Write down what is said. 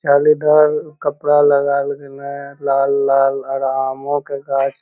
जालीदार कपड़ा लगा में लाल-लाल आर आमो के गाँछ --